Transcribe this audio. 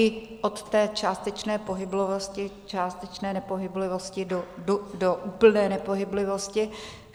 I od té částečné pohyblivosti, částečné nepohyblivosti do úplné nepohyblivosti.